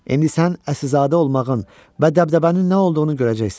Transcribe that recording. İndi sən Əsilzadə olmağın və dəbdəbənin nə olduğunu görəcəksən.